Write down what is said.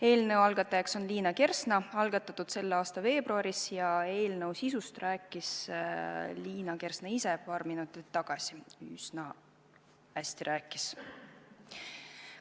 Eelnõu algataja on Liina Kersna, see algatati selle aasta veebruaris ja eelnõu sisust rääkis Liina Kersna ise paar minutit tagasi, üsna hästi rääkis.